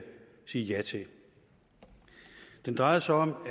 sige ja til den drejer sig om